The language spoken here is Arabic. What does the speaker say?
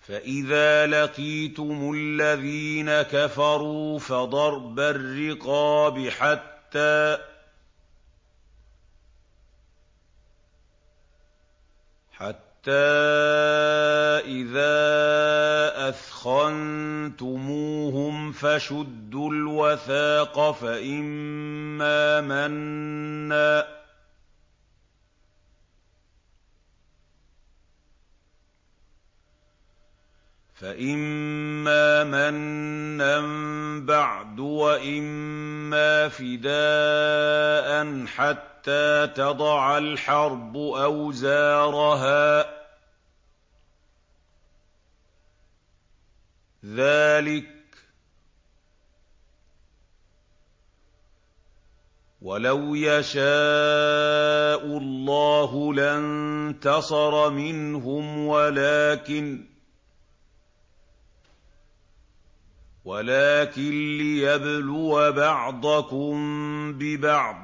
فَإِذَا لَقِيتُمُ الَّذِينَ كَفَرُوا فَضَرْبَ الرِّقَابِ حَتَّىٰ إِذَا أَثْخَنتُمُوهُمْ فَشُدُّوا الْوَثَاقَ فَإِمَّا مَنًّا بَعْدُ وَإِمَّا فِدَاءً حَتَّىٰ تَضَعَ الْحَرْبُ أَوْزَارَهَا ۚ ذَٰلِكَ وَلَوْ يَشَاءُ اللَّهُ لَانتَصَرَ مِنْهُمْ وَلَٰكِن لِّيَبْلُوَ بَعْضَكُم بِبَعْضٍ ۗ